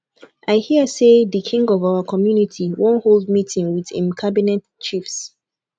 i hear say the king of our community wan hold meeting with im cabinet chiefs